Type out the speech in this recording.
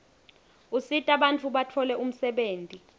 usita bantfu batfole umsebenti